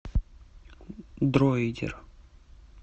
дроидер